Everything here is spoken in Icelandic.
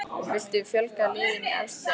Viltu fjölga liðum í efstu deild?